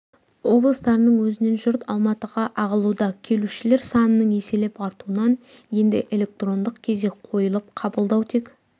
облыстарының өзінен жұрт алматыға ағылуда келушілер санының еселеп артуынан енді электрондық кезек қойылып қабылдау тек